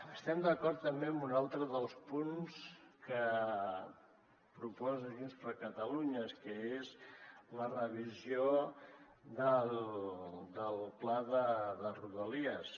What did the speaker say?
estem d’acord també amb un altre dels punts que proposa junts per catalunya que és la revisió del pla de rodalies